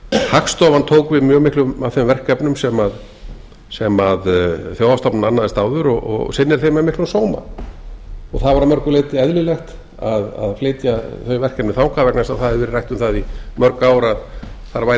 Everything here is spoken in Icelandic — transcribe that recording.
hagstofan tók við mjög miklu af þeim verkefnum sem þjóðhagsstofnun annaðist áður og sinnir þeim með miklum sóma það var að mörgu leyti eðlilegt að flytja þau verkefni þangað vegna þess að það hafði verið rætt um það í mörg ár að þar væri